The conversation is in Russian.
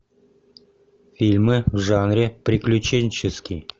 фильмы в жанре приключенческий